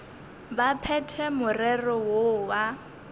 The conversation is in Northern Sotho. ba phethe morero woo wa